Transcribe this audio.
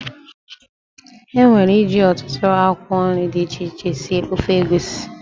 E nwere iji ọtụtụ akwụkwọ nri dị iche iche sie ofe egwusi.